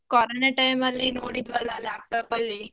Corona time ಲಿ ನೋಡಿದ್ವಲ್ಲ laptop ಅಲ್ಲಿ.